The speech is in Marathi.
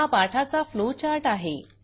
हा पाठाचा फ्लो चार्ट आहे